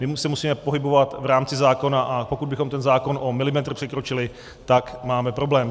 My se musíme pohybovat v rámci zákona, a pokud bychom ten zákon o milimetr překročili, tak máme problém.